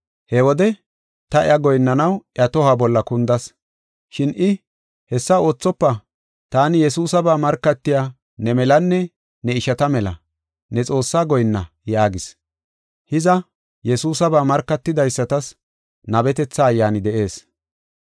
He wode ta iya goyinnanaw iya tohuwa bolla kundas. Shin I, “Hessa oothofa! Taani Yesuusaba markatiya ne melanne ne ishata mela. Ne Xoossaa goyinna” yaagis. Hiza, Yesuusaba markatidaysatas nabetetha ayyaani de7ees.